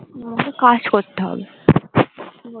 আমাকে কাজ করতে হবে